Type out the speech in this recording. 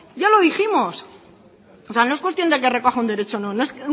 ya lo dijimos o sea no es cuestión de que recoja un derecho o no no es